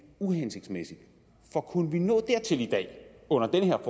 uhensigtsmæssig for kunne vi nå dertil i dag under den her